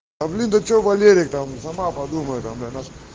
а блюдо что валерии сама подумай нас